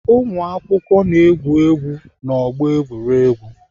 Ụmụakwụkwọ na-egwu egwu n'ọgbọ egwuregwu.